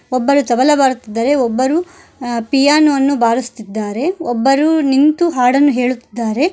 ಒಬ್ಬರು ತಬಲ ಬಾರಿಸುತ್ತಿದ್ದಾರೆ ಒಬ್ಬರು ಪಿಯಾನ ವನ್ನು ಬಾರಿಸುತ್ತಿದ್ದಾರೆ ಒಬ್ಬರು ನಿಂತು ಹಾಡನ್ನು ಹೇಳುತ್ತಿದ್ದಾರೆ.